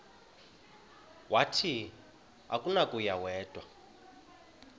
wathi akunakuya wedw